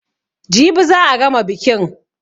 Jibi za a gama bikin.